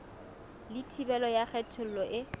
le thibelo ya kgethollo e